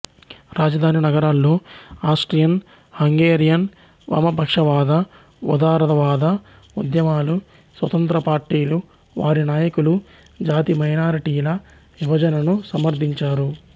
రాజధాని నగరాల్లో Austrian Hungarian వామపక్షవాద ఉదారవాద ఉద్యమాలు స్వతంత్ర పార్టీలు వారి నాయకులు జాతి మైనారిటీల విభజనను సమర్ధించారు